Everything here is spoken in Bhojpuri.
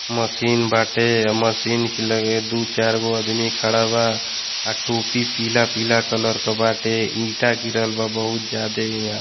मशीन बाटे। मशीन कि लगे दु चार गो आदमी खाड़ा बा आ टोपि पीला-पीला कलर क बाटे ईटा गिरल बा बोहुत ज्यादे इहां।